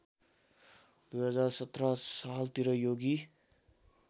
२०१७ सालतिर योगी